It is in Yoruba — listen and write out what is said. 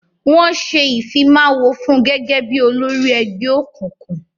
Wọ́n ṣé Ìfimáwo fun gẹ́gẹ́ bí olórí ẹgbẹ́ òkùnkùn